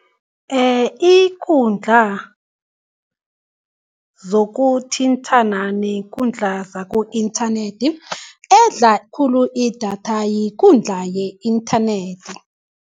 Ikundla zokuthintana nekundla zaku-internet edla khulu idatha yikundla ye-internet.